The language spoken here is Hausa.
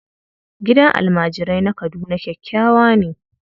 Gidan almajirai na Kaduna kyakkyawa ne.